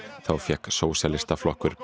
þá fékk Sósíalistaflokkur